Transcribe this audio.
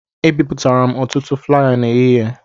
Ebipụtara m ọtụtụ flaya n'ehihie